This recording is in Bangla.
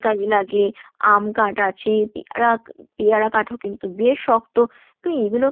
কাজে লাগে, আম কাঠ আছে পেয়ারা পেয়ারা কাঠ ও কিন্তু বেশ শক্ত তো এইগুলো